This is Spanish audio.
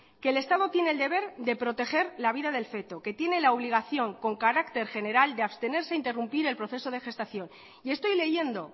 que el estado tiene el deber de proteger la vida del feto que tiene la obligación con carácter general de abstenerse a interrumpir el proceso de gestación y estoy leyendo